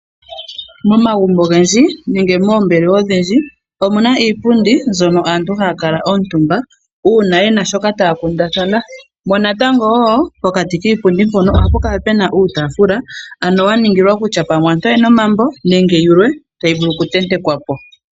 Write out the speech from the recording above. Momagumbo ogendji nenge moombelewa odhindji omuna iipundi mbyono aantu haya kala omutumba mono uuna yena shoka taya kundathana. Pokati kiipundi mpono ohapu kala puna uutaafula yaningilwa kutya pamwe aantu oyena omambo nenge yilwe tayi vulu okutentekwa po.